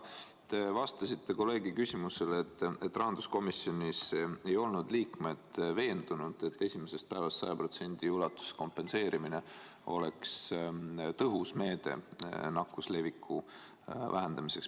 Te vastasite kolleegi küsimusele, et rahanduskomisjoni liikmed ei olnud veendunud, et esimesest päevast 100% ulatuses kompenseerimine oleks tõhus meede nakkuse leviku vähendamiseks.